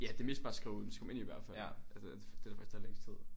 Ja det er mest bare at skrive skrive dem ind i hvert fald altså øh det der faktisk tager længst tid